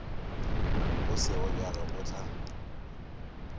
go sego bjalo o tla